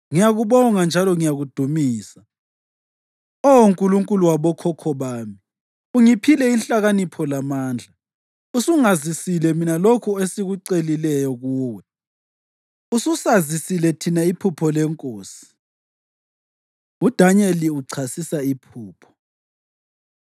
Ngiyakubonga njalo ngiyakudumisa, Oh Nkulunkulu wabokhokho bami: Ungiphile inhlakanipho lamandla, usungazisile mina lokho esikucelileyo kuwe, ususazisile thina iphupho lenkosi.” UDanyeli Uchasisa Iphupho